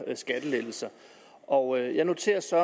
skattelettelser og jeg noterer så